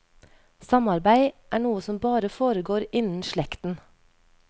Samarbeid er noe som bare foregår innen slekten.